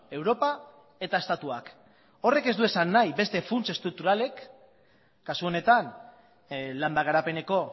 europa eta estatuak horrek ez du esan nahi beste funts estrukturalek kasu honetan landa garapeneko